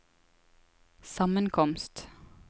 sammenkomst